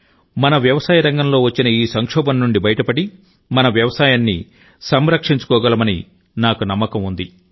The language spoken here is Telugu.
మన వ్యవసాయ రంగంలో వచ్చిన ఈ సంక్షోభం నుండి బయటపడి మన వ్యవసాయాన్ని సంరక్షించుకోగలమని నాకు నమ్మకం ఉంది